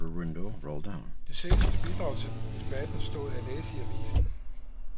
Det seneste bidrag til debatten stod at læse i avisen.